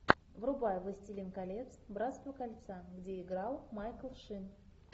врубай властелин колец братство кольца где играл майкл шин